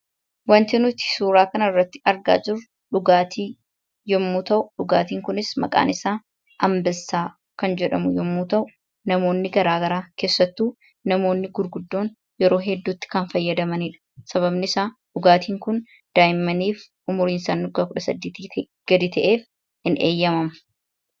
Waanti nuti suuraa kanarratti argaa jirru dhugaatii yommuu ta'u, dhugaatiin kunis maqaan isaa Ambessaa kan jedhamu yommuu ta'u, namoonni garaa garaa keessattuu namoonni gurguddoon yeroo hedduu itti kan fayyadamanidha. Sababni isaa dhugaatiin kun daa'immaniif umriin isaanii waggaa kudha saddeetii gadi ta'eef hin eeyyamamu.